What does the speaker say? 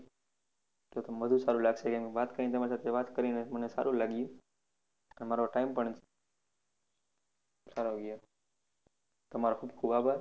તો વધારે સારું લાગશે કેમ કે વાત કરીને તમારી સાથે વાત કરીને મને સારું લાગ્યું તમારો time પણ સારો ગયો તમારો ખુબ ખુબ આભાર.